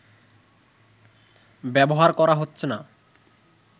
ব্যবহার করা হচ্ছে না